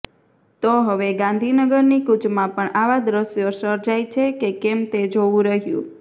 તો હવે ગાંધીનગરની કૂચમાં પણ આવા દ્રશ્યો સર્જાય છે કે કેમ તે જોવું રહ્યું